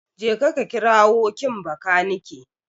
Jeka ka kirawo kin Bakanike.